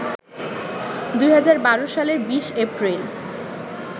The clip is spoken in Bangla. ২০১২ সালের ২০ এপ্রিল